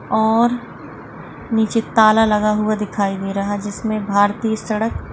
और नीचे ताला लगा हुआ दिखाई दे रहा जिसमे भारतीय सडक --